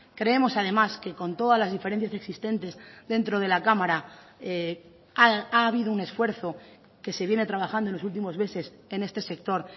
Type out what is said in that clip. creemos además que con todas las diferencias existentes dentro de la cámara ha habido un esfuerzo que se viene trabajando en los últimos meses en este sector